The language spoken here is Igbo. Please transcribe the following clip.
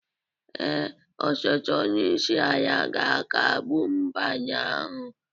Ee, osote onye isi ala ga-akagbu nbanye ahụ